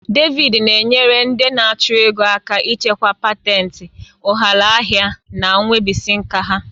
David na-enyere ndị achụ ego aka ichekwa patentì, ụghalaahịa, na nwebisiinka ha.